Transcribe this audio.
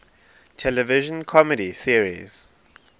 television comedy series